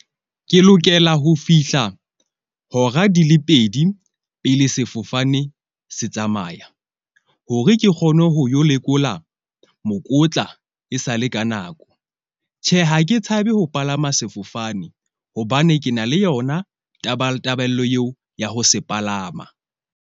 Ke lokela ho fihla hora di le pedi pele sefofane se tsamaya. Hore ke kgone ho yo lekola mokotla e sale ka nako. Tjhe, ha ke tshabe ho palama sefofane hobane ke na le yona tabatabello eo ya ho se palama.